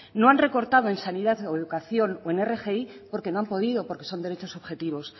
no han recortado en sanidad o educación o en rgi porque no han podido porque son derechos subjetivos